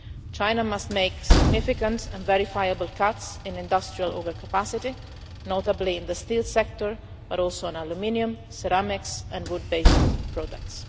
China must make significant and verifiable cuts in industrial overcapacity, notably in the steel sector, but also on aluminium, ceramics and wood based products.